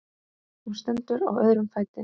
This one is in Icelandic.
Hún stendur á öðrum fæti.